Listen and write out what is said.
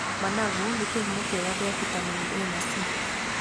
Managu nĩ kĩhumo kĩega kĩa bitameni A na C.